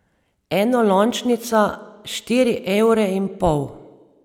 Enolončnica štiri evre in pol.